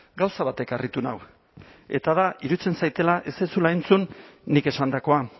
gauza batek harritu nau eta da iruditzen zaidala ez duzula entzun nik esandakoa